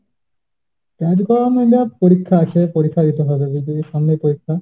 কাজকর্মে যা পরীক্ষা আছে, পরীক্ষা দিতে হবে বুঝলি, সামনে পরীক্ষা।